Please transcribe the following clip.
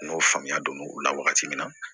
N'o faamuya don u la wagati min na